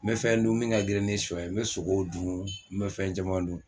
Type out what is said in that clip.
N bɛ fɛn dun min ka grin ni sɔ ye n bɛ sogow dun n bɛ fɛn caman dun.